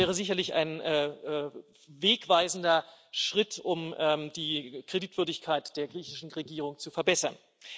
Das wäre sicherlich ein wegweisender Schritt, um die Kreditwürdigkeit der griechischen Regierung zu verbessern.